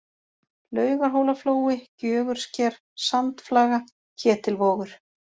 Laugarhólaflói, Gjögursker, Sandflaga, Ketilvogur